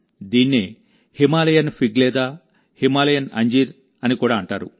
దీన్నే హిమాలయన్ ఫిగ్లేదా హిమాలయన్ అంజీర్అని కూడా అంటారు